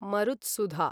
मरुत्सुधा